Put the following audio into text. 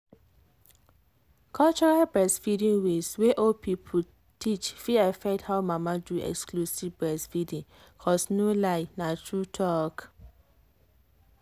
cultural breastfeeding ways wey old people teach fit affect how mama do exclusive breastfeeding cos no lie na true talk.